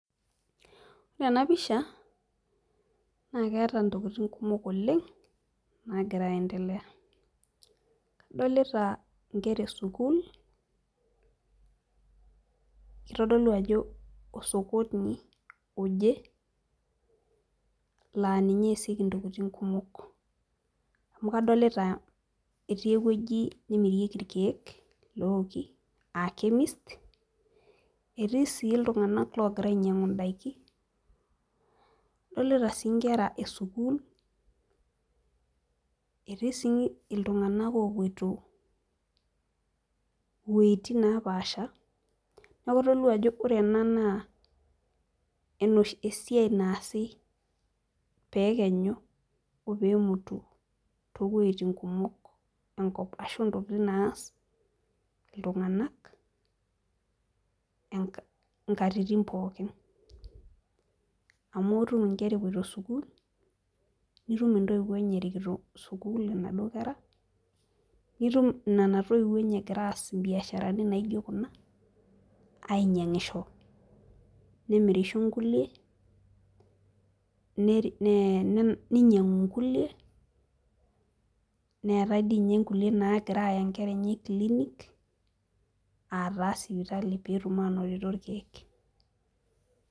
Ore ena pisha naa keeta ntokitin kumok oleng naagira aendelea, kadolita nkera esukuul, kitodolu ajo osokoni oje, laa ninye neesieki ntokitin kumok amu kadolita etii ewueji nemirieki irkeek looking aa chemist etii sii iltunganak loogira ainyiangu daikin. adolita sii nkera esukuul, etii sii iltunganak oopoito iweujitin nepaasha. neeku kitodolu ajo ore ena naa esiai naasi ,pee ekenyu o peemutu too wuejitin kumok, enkop ashu ntokitin naas iltunganak inkatitin pookin. amu itum nkera epoito sukuul, nitum intoiwuo enye erikoto sukuul inaduoo kera. nitum Nena toiwuo enye egira aas ibiasharani naijo Kuna. ainyiangisho. Nemirisho nkulie. neennyiangu nkulie, neetae dii ninye nkulie nagira aaya nkera enye clinic .aa taa sipitali pee etum aanotito ilkeek